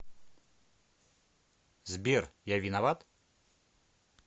сбер я виноват